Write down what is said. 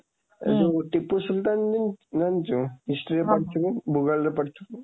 ହୁଁ ଯୋଉ ଟିପୁ ସୁଲତାନ ଜାଣିଚୁ history ରେ ପଢିଥିବୁ ଭୂଗୋଳ ରେ ପଢିଥିବୁ